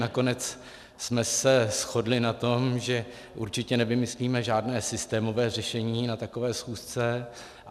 Nakonec jsme se shodli na tom, že určitě nevymyslíme žádné systémové řešení na takové schůzce.